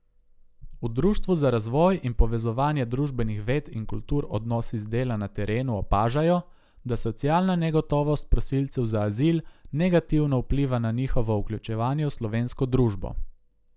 V Društvu za razvoj in povezovanje družbenih ved in kultur Odnos iz dela na terenu opažajo, da socialna negotovost prosilcev za azil negativno vpliva na njihovo vključevanje v slovensko družbo.